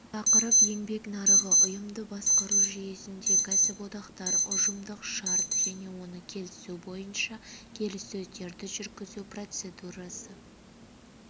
тақырып еңбек нарығы ұйымды басқару жүйесінде кәсіподақтар ұжымдық шарт және оны келісу бойынша келіссөздерді жүргізу процедурасы